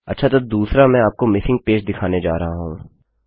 अच्छा तो दूसरा मैं आपको मिसिंग पेज दिखाने जा रहा हूँ